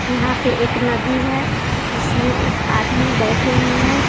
यहाँ पे एक नदी है जिसमें एक आदमी बैठे हुए हैं।